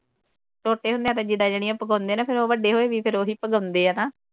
ਛੋਟੇ ਹੁੰਦਿਆਂ ਤਾਂ ਜਿੱਦਾਂ ਜਿਹੜੀਆਂ ਪਗਾਉਂਦੇ ਆ ਫਿਰ ਉਹ ਵੱਡੇ ਹੋਏ ਵੀ ਫਿਰ ਉਹੀ ਪਗਾਉਂਦੇ ਨਾ।